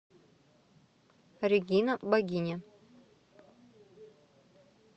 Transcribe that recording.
регина богиня